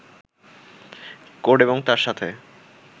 code এবং তার সাথে